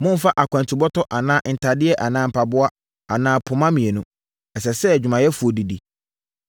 Mommfa akwantubɔtɔ anaa ntadeɛ anaa mpaboa anaa poma mmienu. Ɛsɛ sɛ odwumayɛfoɔ didi.